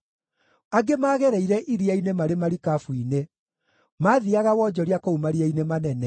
Angĩ maagereire iria-inĩ marĩ marikabu-inĩ; maathiiaga wonjoria kũu maria-inĩ manene.